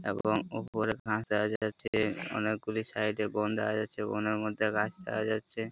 এবং ওপরে গাছ দেখা যাচ্ছে। অনেকগুলি সাইড বন দেখা যাচ্ছে ।বনের মধ্যে গাছ দেখা যাচ্ছে ।